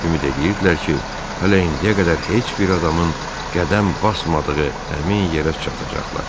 Ümid eləyirdilər ki, hələ indiyə qədər heç bir adamın qədəm basmadığı həmin yerə çatacaqlar.